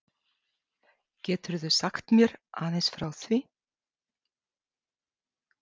Geturðu sagt mér aðeins frá því?